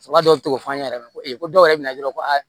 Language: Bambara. O ka dɔw ti se k'o fɔ an ɲɛna ko dɔw yɛrɛ bɛ na ye dɔrɔn ko aa